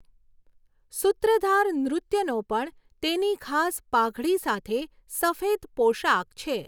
સૂત્રધાર નૃત્યનો પણ તેની ખાસ પાઘડી સાથે સફેદ પોશાક છે.